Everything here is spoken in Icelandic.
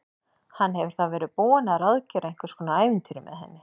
Hann hefur þá verið búinn að ráðgera einhvers konar ævintýri með henni!